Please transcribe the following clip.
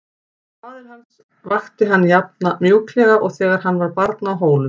Faðir hans vakti hann jafn mjúklega og þegar hann var barn á Hólum.